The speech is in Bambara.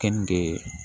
Kɛnde